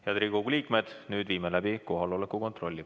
Head Riigikogu liikmed, nüüd viime läbi kohaloleku kontrolli.